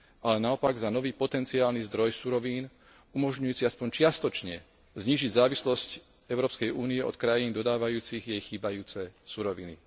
Ale naopak, za nový potenciálny zdroj surovín umožňujúci aspoň čiastočne znížiť závislosť Európskej únie od krajín dodávajúcich jej chýbajúce suroviny.